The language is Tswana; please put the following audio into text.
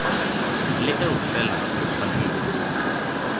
le eo fela go tshwanetse